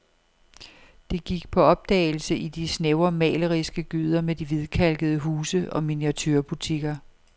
De gik på opdagelse i de snævre maleriske gyder med de hvidkalkede huse og miniaturebutikker.